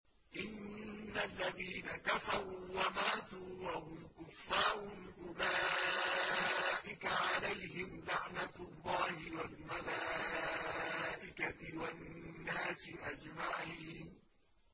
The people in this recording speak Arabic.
إِنَّ الَّذِينَ كَفَرُوا وَمَاتُوا وَهُمْ كُفَّارٌ أُولَٰئِكَ عَلَيْهِمْ لَعْنَةُ اللَّهِ وَالْمَلَائِكَةِ وَالنَّاسِ أَجْمَعِينَ